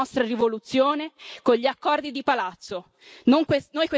Non fermerete la nostra rivoluzione con gli accordi di palazzo.